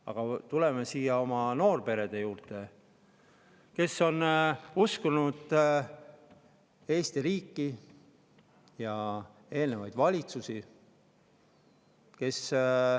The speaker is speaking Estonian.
Aga tuleme noorperede juurde, kes on uskunud Eesti riiki ja eelnevaid valitsusi.